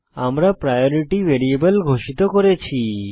আমরা priority variable ঘোষিত করেছি